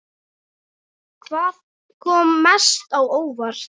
Hvað kom mest á óvart?